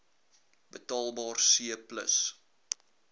betaalbaar c plus